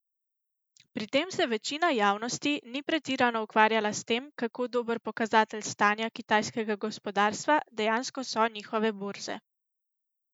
Pri tem se večina javnosti ni pretirano ukvarjala s tem, kako dober pokazatelj stanja kitajskega gospodarstva dejansko so njihove borze.